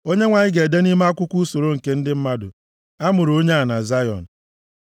Onyenwe anyị ga-ede nʼime akwụkwọ usoro nke ndị mmadụ: “A mụrụ onye a na Zayọn.”